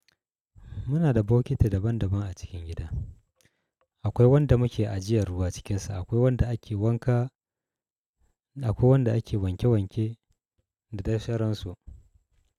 Muna da bokiti daban daban a cikin gida. Akwai wanda muke ajiyar ruwa cikinsa, akwai wanda ake wanka, akwai wanda ake wanke-wanke da dai sauransu.